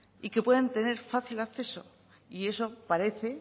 y que puedan tener fácil acceso y eso parece